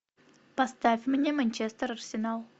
поставь мне манчестер арсенал